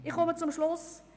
Ich komme zum Schluss: